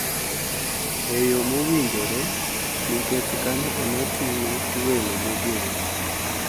E yo mowinjore nikech kanyo ema ting`o welo mogen.